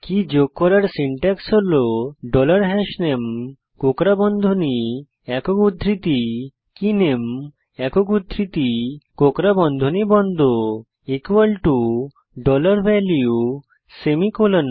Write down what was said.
কী যোগ করার সিনট্যাক্স হল ডলার হাশনামে কোঁকড়া বন্ধনী একক উদ্ধৃতি কেনামে একক উদ্ধৃতি কোঁকড়া বন্ধনী বন্ধ value সেমিকোলন